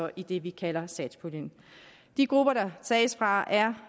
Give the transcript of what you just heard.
i det vi kalder satspuljen de grupper der tages fra er